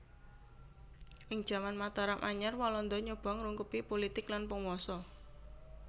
Ing jaman Mataram Anyar Walanda nyoba ngrungkebi pulitik lan panguwasa